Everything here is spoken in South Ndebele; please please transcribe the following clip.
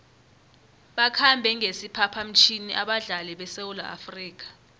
bakhambe ngesiphaphamtjhini abadlali besewula afrika